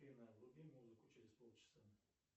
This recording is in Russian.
афина вруби музыку через полчаса